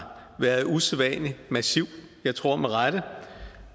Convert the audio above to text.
været usædvanlig massiv jeg tror med rette